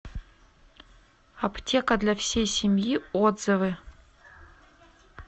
аптека для всей семьи отзывы